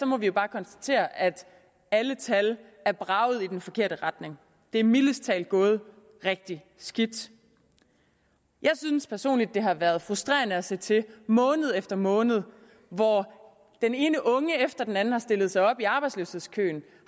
må vi jo bare konstatere at alle tal er braget i den forkerte retning det er mildest talt gået rigtig skidt jeg synes personligt det har været frustrerende at se til måned efter måned hvor den ene unge efter den anden har stillet sig op i arbejdsløshedskøen